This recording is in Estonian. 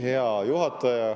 Hea juhataja …